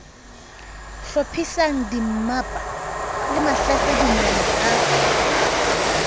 hlophisang dimmapa le mahlasedinyana a